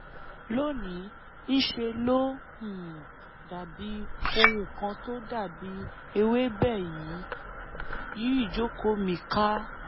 lóníí ńṣe ló um dàbí ohun kan tó dàbí ewébẹ̀ yí ìjókòó mi ká